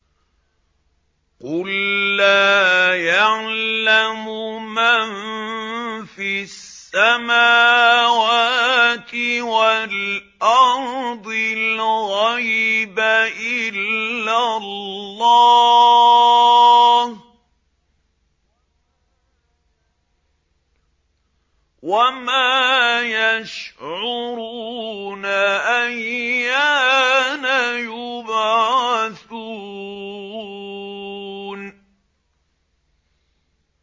قُل لَّا يَعْلَمُ مَن فِي السَّمَاوَاتِ وَالْأَرْضِ الْغَيْبَ إِلَّا اللَّهُ ۚ وَمَا يَشْعُرُونَ أَيَّانَ يُبْعَثُونَ